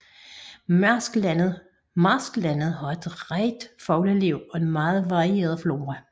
Marsklandet har et rigt fugleliv og en meget varieret flora